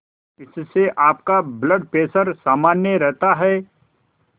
इससे आपका blood pressure सामान्य रहता है